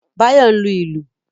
Báyọ̀ ń lu ìlù